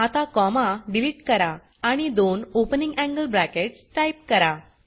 आता comma delete करा आणि दोन ओपनिंग एंगल ब्रॅकेट्स टाइप करा